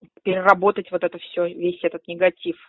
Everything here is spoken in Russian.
переработать вот это всё весь этот негатив